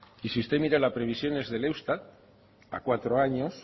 y si usted mira las previsiones del eustat